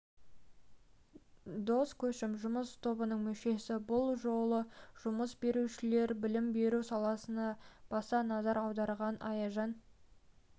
дос көшім жұмыс тобының мүшесі бұл жолы жұмыс берушілер білім беру саласына баса назар аударған аяжан